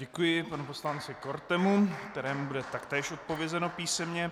Děkuji panu poslanci Kortemu, kterému bude taktéž odpovězeno písemně.